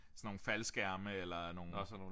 Sådan nogle faldskærme eller nogle